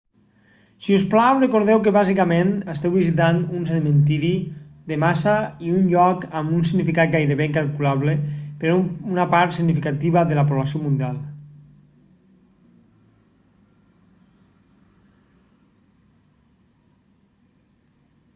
si us plau recordeu que bàsicament esteu visitant un cementiri de massa i un lloc amb un significat gairebé incalculable per a una part significativa de la població mundial